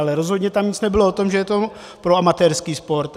Ale rozhodně tam nic nebylo o tom, že je to pro amatérský sport.